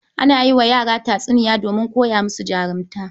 Ana yi wa yara tatsiniya donmin koya musu jarunta